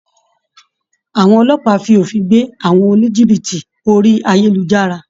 Àwọn Ọlọ́pàá fi òfin gbé àwọn oníjìbìtì orí ayélujára